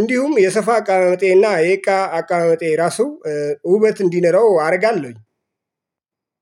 እንዲሁም የሶፋ አቀማመጤ እና የእቃ አቀማመጤ ራሱ ውበት እንዲኖረው አደርጋለሁኝ።